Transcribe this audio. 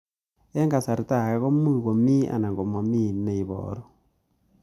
Eng' kasarta ag'e ko much ko mii anan komamii he ibaru